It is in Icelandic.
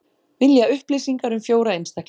Vilja upplýsingar um fjóra einstaklinga